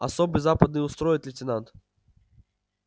особый западный устроит лейтенант